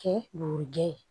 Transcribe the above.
Kɛ bugurijɛ ye